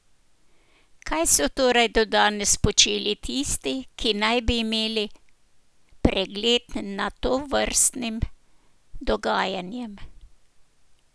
Kaj so torej do danes počeli tisti, ki naj bi imeli pregled nad tovrstnim dogajanjem?